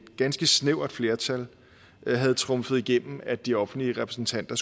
ganske snævert flertal havde trumfet igennem at de offentlige repræsentanter